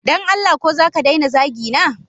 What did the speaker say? Don Allah ko zaka daina zagina?